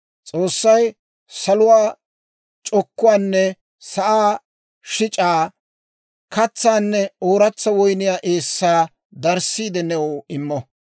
S'oossay saluwaa c'okkuwaanne sa'aa shic'aa, katsaanne ooratsa woyniyaa eessaa darssiide new immo.